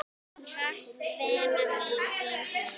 Takk, vina mín, þín Hlín.